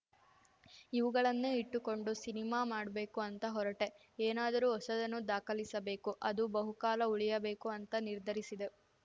ಇವುಗಳನ್ನೆ ಇಟ್ಟುಕೊಂಡು ಸಿನಿಮಾ ಮಾಡ್ಬೇಕು ಅಂತ ಹೊರಟೆ ಏನಾದರೂ ಹೊಸದನ್ನು ದಾಖಲಿಸಬೇಕು ಅದು ಬಹುಕಾಲ ಉಳಿಯಬೇಕು ಅಂತ ನಿರ್ಧರಿಸಿದೆ